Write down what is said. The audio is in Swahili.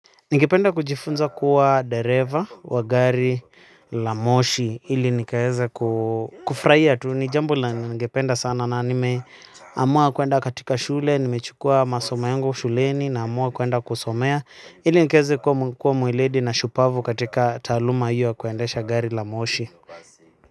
Ningependa kujifunza kuwa dereva wa gari la moshi ili nikaweze kufurahia tu, ni jambo ningependa sana. Na nimeamua kwenda katika shule, nimechukua masomo yangu shuleni, naamua kwenda kusomea ili nikaweze kuwa mweledi na shupavu katika taaluma hiyo ya kuendesha gari la moshi.